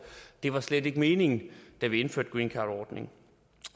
det var slet ikke meningen da vi indførte greencardordningen